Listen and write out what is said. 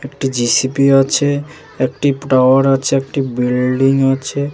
একটি জে.সি.পি আছে একটি টাওয়ার আছেএকটি বিল্ডিং আছে ।